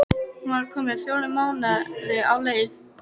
Hún var komin fjóra mánuði á leið.